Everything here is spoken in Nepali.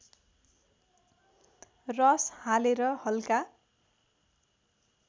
रस हालेर हल्का